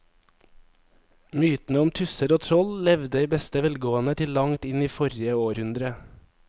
Mytene om tusser og troll levde i beste velgående til langt inn i forrige århundre.